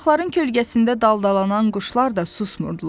Yarpaqların kölgəsində daldalanan quşlar da susmurdular.